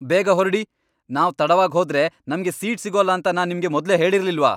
ಬೇಗ ಹೊರ್ಡಿ! ನಾವ್ ತಡವಾಗ್ ಹೋದ್ರೆ ನಮ್ಗೆ ಸೀಟ್ ಸಿಗೋಲ್ಲ ಅಂತ ನಾನ್ ನಿಮ್ಗೆ ಮೊದ್ಲೇ ಹೇಳಿರ್ಲಿಲ್ವಾ!